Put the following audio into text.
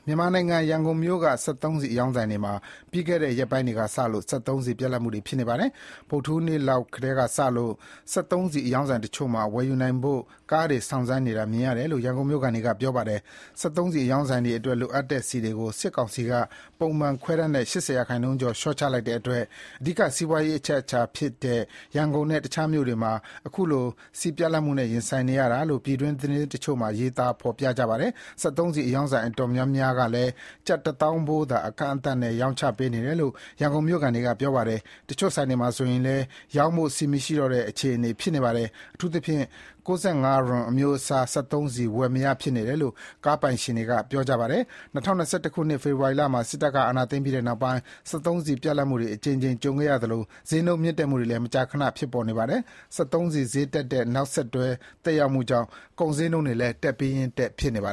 ြန်မာနိုင်ငံ၊ ရန်ကုန်မြို့က စက်သုံးဆီအရောင်းဆိုင်တွေမှာ ပြီးခဲ့တဲ့ရက်ပိုင်းထဲကစလို့စက်သုံးဆီ ပြတ်လပ် နေပါတယ်။ ဗုဒ္ဓဟူးနေ့လောက်ထဲကစလို့ စက်သုံးဆီအရောင်းဆိုင်တချို့မှာ ဝယ်ယူနိုင်ဖို့ ကားတွေစောင့် ဆိုင်းနေတာ မြင်ရတယ်လို့ ရန်ကုန်မြို့ခံတွေက ပြောပါတယ်။ စက်သုံးဆီအရောင်းဆိုင်တွေအတွက် လိုအပ်တဲ့ဆီတွေကို စစ်ကောင်စီက ပုံမှန်ခွဲတမ်းထက် ၈၀% ကျော် လျော့ချလိုက်တဲ့အတွက် အဓိကစီးပွားရေး အချက်အခြာမြို့ဖြစ်တဲ့ ရန်ကုန်နဲ့ တခြား မြို့တွေမှာ အခုလို ဆီပြတ်လပ်မှုနဲ့ ရင်ဆိုင်နေရတာလို့ ပြည်တွင်းသတင်းတချို့မှာ ရေးသား ဖော်ပြကြပါတယ်။ စက်သုံးဆီ အရောင်းဆိုင်အတော်များများကလည်း ကျပ်တသောင်းဖိုးသာ အကန့်အသတ်နဲ့ ရောင်းချပေးနေတယ်လို့ ရန်ကုန်မြို့ခံတွေက ပြောပါတယ်။ တချို့ဆိုင်တွေမှာဆိုလည်း ရောင်းဖို့ ဆီမရှိတော့တဲ့ အခြေအနေဖြစ်နေပါတယ်။ အထူးသဖြင့် ၉၅ ရွန် အမျိုးအစားစက်သုံးဆီဝယ်မရ ဖြစ်နေတယ်လို့ ကားပိုင်ရှင်တွေက ပြောပြပါတယ်။ ၂၀၂၁ ခုနှစ်၊ ဖေဖော်ဝါရီလမှာ စစ်တပ်က အာဏာသိမ်းပြီးတဲ့နောက်ပိုင်း စက်သုံးဆီပြတ်လပ်မှုတွေ အကြိမ်ကြိမ် ကြုံခဲ့ရသလို ဈေးနှုန်း မြင့်တက်မှုတွေ မကြာခဏ ဖြစ်‌ပေါ်နေပါတယ်။ စက်သုံးဆီဈေးတက်တဲ့ နောက်ဆက်တွဲ သက်ရောက်မှုကြောင့် ကုန်ဈေးနှုန်းတွေလည်း တက်ပြီးရင်းတက်ဖြစ်နေပါ